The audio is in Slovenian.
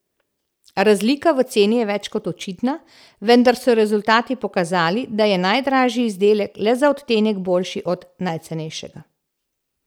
Razlika v ceni je več kot očitna, vendar so rezultati pokazali, da je najdražji izdelek le za odtenek boljši od najcenejšega.